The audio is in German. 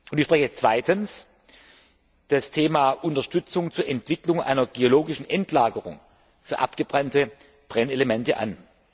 Ich spreche jetzt zweitens das Thema Unterstützung zur Entwicklung einer geologischen Endlagerung für abgebrannte Brennelemente an.